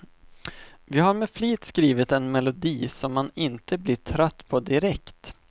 Vi har med flit skrivit en melodi, som man inte blir trött på direkt.